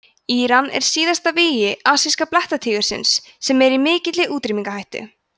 íran er síðasta vígi asíska blettatígursins sem er í mikilli útrýmingarhættu